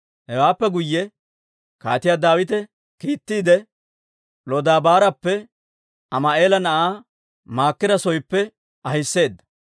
Hewaappe guyye Kaatiyaa Daawite kiittiide, Lodabaarappe Ammi'eela na'aa Maakira sooppe ahiseedda.